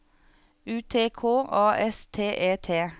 U T K A S T E T